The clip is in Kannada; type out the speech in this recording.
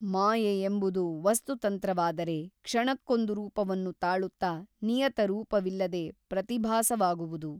ಮಾಯೆಯೆಂಬುದು ವಸ್ತುತಂತ್ರವಾದರೆ ಕ್ಷಣಕ್ಕೊಂದು ರೂಪವನ್ನು ತಾಳುತ್ತ ನಿಯತ ರೂಪವಿಲ್ಲದೆ ಪ್ರತಿಭಾಸವಾಗುವುದು.